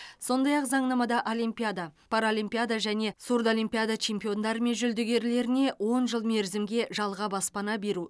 сондай ақ заңнамада олимпиада паралимпиада және сурдоимпиада чемпиондары мен жүлдегерлеріне он жыл мерзімге жалға баспана беру